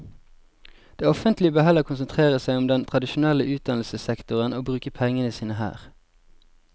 Det offentlige bør heller konsentrere seg om den tradisjonelle utdannelsessektoren og bruke pengene sine her.